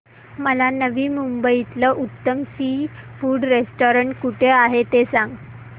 मला नवी मुंबईतलं उत्तम सी फूड रेस्टोरंट कुठे आहे ते सांग